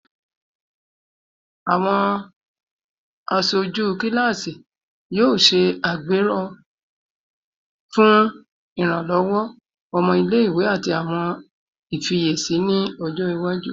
Awọn aṣoju kilasi yoo ṣe agbero fun iranlọwọ ọmọ ile-iwe ati awọn ifiyesi ni ọjọ iwaju